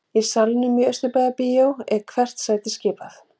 Í salnum í Austurbæjarbíói er hvert sæti skipað.